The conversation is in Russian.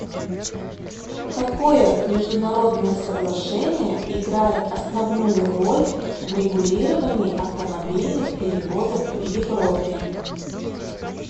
какое международное соглашение играет основную роль в регулировании автомобильных перевозок в европе